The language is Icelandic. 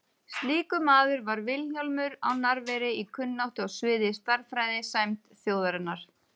Slíkur maður var Vilhjálmur á Narfeyri í kunnáttu á sviði stærðfræði, sæmd þjóðarinnar.